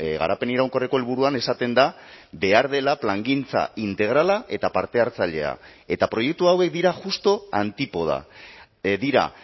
garapen iraunkorreko helburuan esaten da behar dela plangintza integrala eta parte hartzailea eta proiektu hauek dira justu antipoda dira